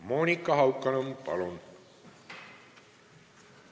Monika Haukanõmm, palun!